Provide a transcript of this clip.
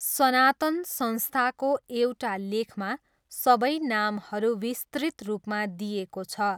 सनातन संस्थाको एउटा लेखमा सबै नामहरू विस्तृत रूपमा दिइएको छ।